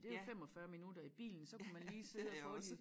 Det jo 45 minutter i bilen så kunne man lige sidde få de